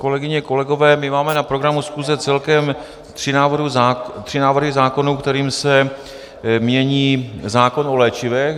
Kolegyně, kolegové, my máme na programu schůze celkem tři návrhy zákonů, kterým se mění zákon o léčivech.